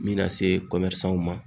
N min na se ma